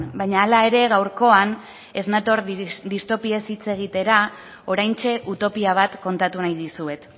baina hala ere gaurkoan ez nator disptopiez hitz egitera oraintxe utopia bat kontatu nahi dizuet